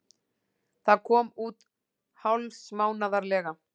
Það kom út hálfsmánaðarlega.